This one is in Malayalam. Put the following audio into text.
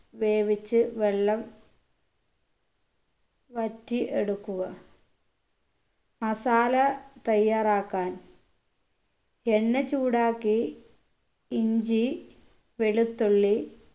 വേവിച്ച് വെള്ളം വറ്റി എടുക്കുക masala തയ്യാറാക്കാൻ എണ്ണ ചൂടാക്കി ഇഞ്ചി വെളുത്തുള്ളി